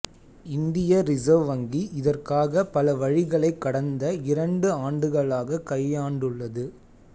இந்திய ரிசர்வ் வங்கி இதற்காக பல வழிகளை கடந்த இரண்டு ஆண்டுகளாக கையாண்டுள்ளது